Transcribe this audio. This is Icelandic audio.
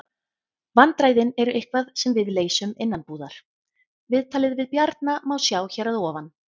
Vandræðin eru eitthvað sem við leysum innanbúðar. Viðtalið við Bjarna má sjá hér að ofan.